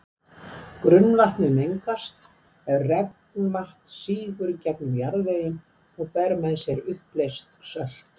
Grunnvatnið mengast ef regnvatn sígur gegnum jarðveginn og ber með sér uppleyst sölt.